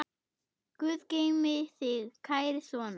Guð geymi þig, kæri sonur.